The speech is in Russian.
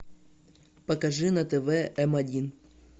покажи на тв м один